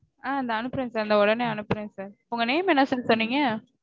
ஆ இந்தா அனுப்பறேன் sir தோ உடனே அனுப்பறேன் sir. உங்க name என்ன sir சொன்னீங்க?